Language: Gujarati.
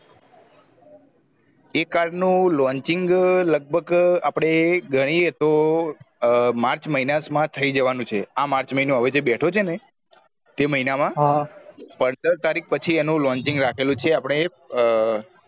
એ car નુ lauching લગભગ આપડે ગણીએ તો માર્ચ મહિના થઈ જવાનું છે અ માર્ચ મહિનો હવે જે બેઠો છે ને તે મહિન મા પંદર તારીખ પછી એનું રાખેલું છે આપળે